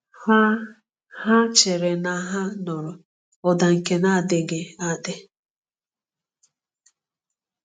Ha Ha chere na ha nụrụ ụda nke na-adịghị adị!